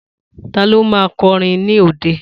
Ta ló ma kọrin ní òde?